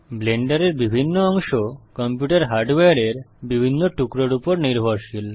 ব্লেন্ডারের বিভিন্ন অংশ কম্পিউটার হার্ডওয়্যারের বিভিন্ন টুকরোর উপর নির্ভরশীল